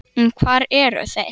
En hvar eru þeir?